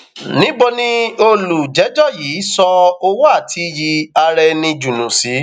níbo ni olùjẹjọ yìí um sọ owó àti iyì um araẹni jùnú sí